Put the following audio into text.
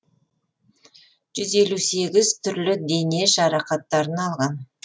жүз елу сегіз түрлі дене жарақаттарын алған